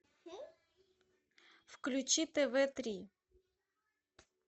включи тв три